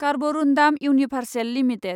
Carborundum Universal limited